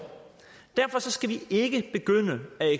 derfor skal vi ikke begynde at